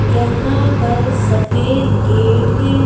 यहां पर सफेद गेट है।